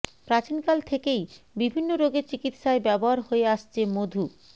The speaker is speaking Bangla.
প্রাচীন কাল থেকেই বিভিন্ন রোগের চিকিৎসায় ব্যবহার হয়ে আসছে মধু